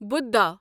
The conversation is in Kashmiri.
بُدھا